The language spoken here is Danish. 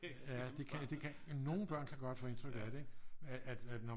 Ja de kan det kan de jamen nogle børn kan godt få indtryk af det ikke at når